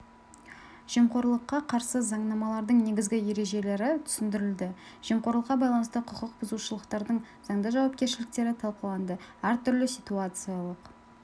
жемқорлыққа қарсы заңнамалардың негізгі ережелері түсіндірілді жемқорлыққа байланысты құқық бұзушылықтардың заңды жауапкершіліктері талқыланды әртүрлі ситуациялық